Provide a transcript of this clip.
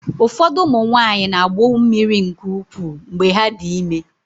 Ụfọdụ ụmụ nwanyị na-agbụ mmiri nke ukwuu mgbe ha dị ime.